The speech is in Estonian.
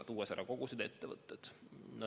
Palutakse ära tuua kogused ja ettevõtted.